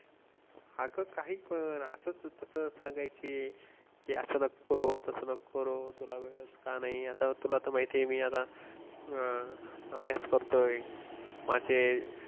अगं काही पण असंच तसं सांगायचे की असं नको करू, तसं नको करू तुला वेळच का नाही आता तुला तर माहिती आहे मी आता अं अभ्यास करतोय माझे